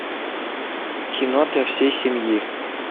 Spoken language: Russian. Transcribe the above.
кино для всей семьи